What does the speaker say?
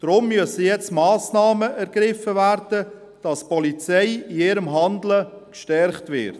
Deshalb müssen nun Massnahmen ergriffen werden, damit die Polizei in ihrem Handeln gestärkt wird.